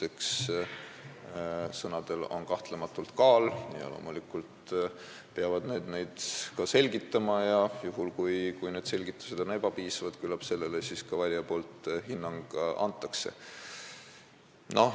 Eks sõnadel ole kahtlematult kaal ja loomulikult peavad nad oma sõnu ka selgitama ja kui selgitused on ebapiisavad, küllap sellele siis ka valijad hinnangu annavad.